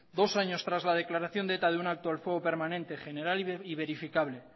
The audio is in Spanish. dos años tras la declaración de eta de un alto al fuego permanente general y verificable